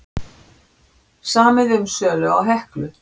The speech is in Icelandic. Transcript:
Samið um sölu á Heklu